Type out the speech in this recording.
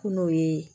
Kungo ye